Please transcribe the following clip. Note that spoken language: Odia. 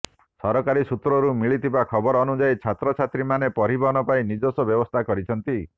ସରକାରୀ ସୂତ୍ରରୁ ମିଳିଥିବା ଖବର ଅନୁଯାୟୀ ଛାତ୍ରଛାତ୍ରୀ ମାନେ ପରିବହନ ପାଇଁ ନିଜସ୍ୱ ବ୍ୟବସ୍ଥା କରିଛନ୍ତି